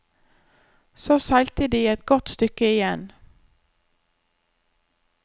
Så seilte de et godt stykke igjen.